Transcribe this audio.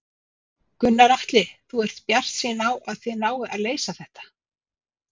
Gunnar Atli: Þú ert bjartsýn á að þið náið að leysa þetta?